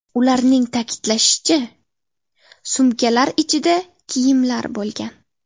Ularning ta’kidlashicha, sumkalar ichida kiyimlar bo‘lgan.